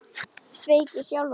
Sveik ég sjálfan mig?